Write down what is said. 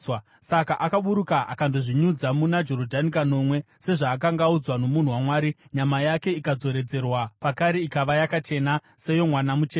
Saka akaburuka akandozvinyudza muna Jorodhani kanomwe, sezvaakanga audzwa nomunhu waMwari, nyama yake ikadzoredzerwa pakare ikava yakachena, seyomwana mucheche.